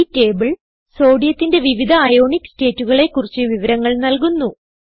ഈ ടേബിൾ സോഡിയത്തിന്റെ വിവിധ അയോണിക് സ്റ്റേറ്റുകളെ കുറിച്ചുള്ള വിവരങ്ങൾ നൽകുന്നു